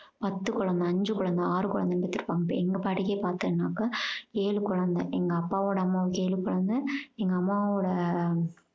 பத்து குழந்தை அஞ்சு குழந்தை ஆறு குழந்தைன்னு பெத்திருப்பாங்க இப்ப எங்க பாட்டிக்கு பாத்தீங்கனாக்க ஏழு குழந்தை எங்க அப்பாவோட அம்மாவுக்கு ஏழு குழந்தை எங்க அம்மாவோட